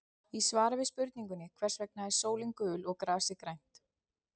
Í svari við spurningunni Hvers vegna er sólin gul og grasið grænt?